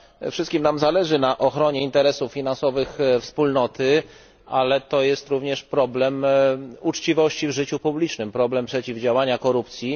Wszystkim nam zależy na ochronie interesów finansowych Wspólnoty, ale jest to również problem uczciwości w życiu publicznym, problem przeciwdziałania korupcji.